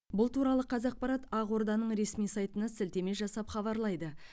бұл туралы қазақпарат ақорданың ресми сайтына сілтеме жасап хабарлайды